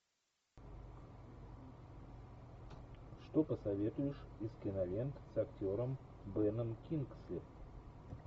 что посоветуешь из кинолент с актером беном кингсли